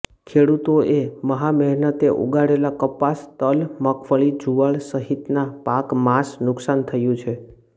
ખેડૂતોએ મહામહેનતે ઉગાડેલા કપાસ તલ મગફળી જુવાર સહિતનાં પાકમાસ નુકશાન થયુ છે